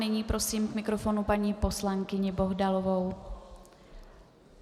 Nyní prosím k mikrofonu paní poslankyni Bohdalovou.